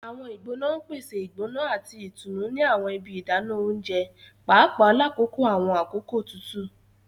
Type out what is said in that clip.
Awọn igbona n pese igbona ati itunu ni awọn ibi idana ounjẹ, paapaa lakoko awọn akoko tutu.